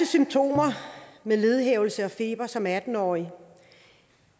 symptomer var ledhævelse og feber som atten årig